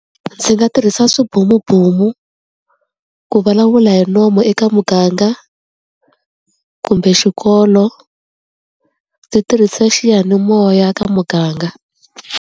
Ndzi nga tirhisa swibomubomu ku vulavula hi nomu eka muganga, kumbe xikolo ndzi tirhisa xiyanimoya ka muganga.